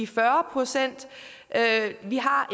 fyrre procent vi har